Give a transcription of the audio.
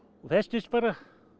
og festist bara